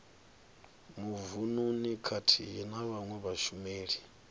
mavununi khathihi na vhawe vhashumeli